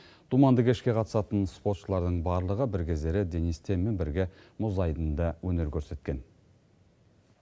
думанды кешке қатысатын спортшылардың барлығы бір кездері денис тенмен бірге мұз айдынында өнер көрсеткен